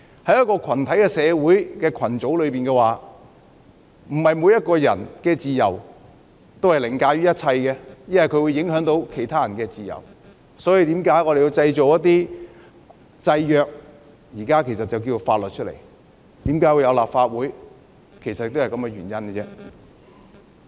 在群體社會的各個群組中，個人的自由並非凌駕一切，因為會影響其他人的自由，所以我們需要訂立制約，也就是現在的法律，這也是為何要有立法會的原因。